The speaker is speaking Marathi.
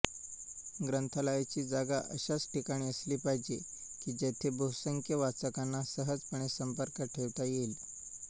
ग्रंथालयाची जागा अशाच ठिकाणी असली पाहिजे की जेथे बहुसंख्य वाचकांना सहजपणे संपर्क ठेवता येईल